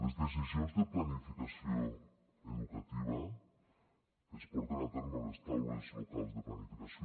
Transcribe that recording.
les decisions de planificació educativa es porten a terme a les taules locals de planificació